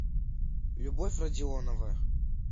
любовь родионова